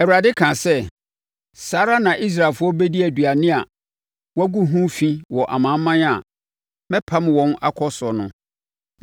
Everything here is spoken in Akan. Awurade kaa sɛ: “Saa ara na Israelfoɔ bɛdi aduane a wɔagu ho fi wɔ amanaman a mɛpam wɔn akɔ so no.”